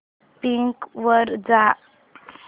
Bing वर जा